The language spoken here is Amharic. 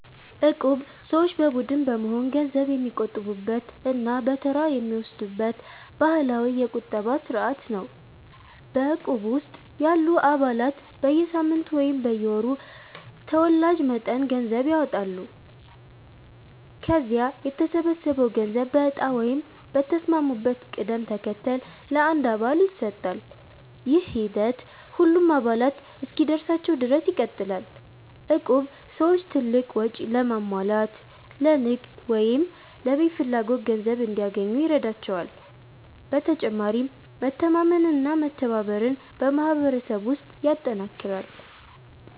እቁብ ሰዎች በቡድን በመሆን ገንዘብ የሚቆጥቡበት እና በተራ የሚወስዱበት ባህላዊ የቁጠባ ስርዓት ነው። በእቁብ ውስጥ ያሉ አባላት በየሳምንቱ ወይም በየወሩ ተወላጅ መጠን ገንዘብ ያዋጣሉ። ከዚያ የተሰበሰበው ገንዘብ በእጣ ወይም በተስማሙበት ቅደም ተከተል ለአንድ አባል ይሰጣል። ይህ ሂደት ሁሉም አባላት እስኪደርሳቸው ድረስ ይቀጥላል። እቁብ ሰዎች ትልቅ ወጪ ለማሟላት፣ ለንግድ ወይም ለቤት ፍላጎት ገንዘብ እንዲያገኙ ይረዳቸዋል። በተጨማሪም መተማመንና መተባበርን በማህበረሰብ ውስጥ ያጠናክራል።